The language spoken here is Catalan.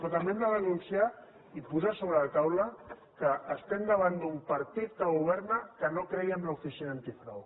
però també hem de denunciar i posar sobre la taula que estem davant d’un partit que governa que no creia en l’oficina antifrau